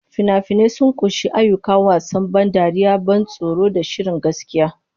Fina-finai sun ƙunshi ayyuka, wasan ban dariya, ban tsoro, da shirin gaskiya.